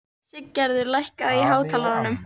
Siggerður, lækkaðu í hátalaranum.